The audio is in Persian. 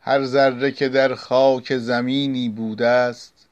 هر ذره که در خاک زمینی بوده ست